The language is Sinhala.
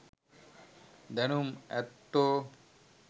දැනුම් ඇත්තෝ